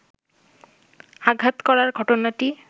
আঘাত করার ঘটনাটি